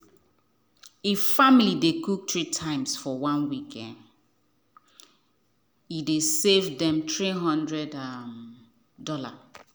if family dey cook three times for um one weak e dey save them 300 um dollar.